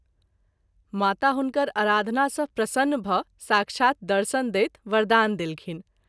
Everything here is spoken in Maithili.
माता हुनकर आराधना सँ प्रसन्न भ’ साक्षात दर्शन दैत वरदान देलखिन।